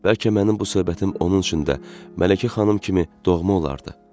Bəlkə mənim bu söhbətim onun üçün də Mələkə xanım kimi doğma olardı.